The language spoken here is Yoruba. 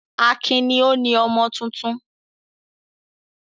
Akin ni ó ni ọmọ tuntun.